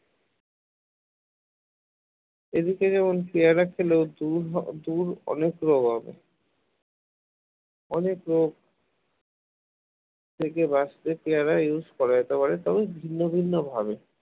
এদিকে যেমন পেয়ারা খেলেও দূর দূর অনেক রোগ হবে অনেক রোগ থেকে বাঁচতে পেয়ারা use করা যেতে পারে তবে ভিন্ন ভিন্ন ভাবে